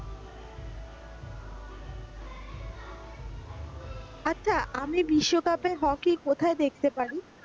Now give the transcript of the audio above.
আচ্ছা আমি বিশকাপে হকি কোথায় দেখতে পারি?